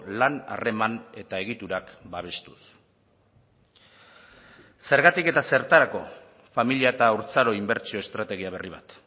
lan harreman eta egiturak babestuz zergatik eta zertarako familia eta haurtzaro inbertsio estrategia berri bat